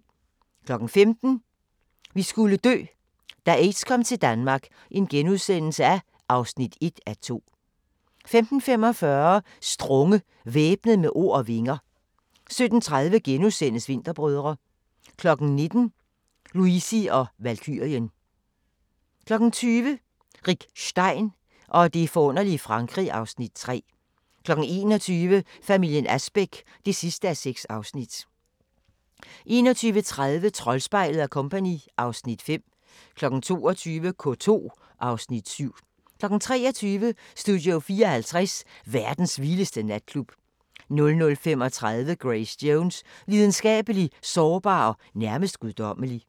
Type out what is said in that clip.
15:00: Vi skulle dø – da aids kom til Danmark (1:2)* 15:45: Strunge – Væbnet med ord og vinger 17:30: Vinterbrødre * 19:00: Luisi & Valkyrien 20:00: Rick Stein og det forunderlige Frankrig (Afs. 3) 21:00: Familien Asbæk (6:6) 21:30: Troldspejlet & Co. (Afs. 5) 22:00: K2 (Afs. 7) 23:00: Studio 54 – verdens vildeste natklub 00:35: Grace Jones – Lidenskabelig, sårbar og nærmest guddommelig